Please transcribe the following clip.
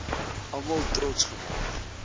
almal trots gemaak